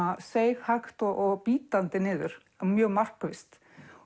seig hægt og bítandi niður mjög markvisst